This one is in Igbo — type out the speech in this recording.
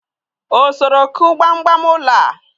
o soro ku gbam gbam ulo a?